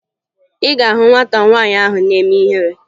Ị ga-ahụ na nwata nwaanyị ahụ na-eme ihere